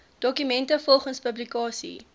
dokumente volgens publikasie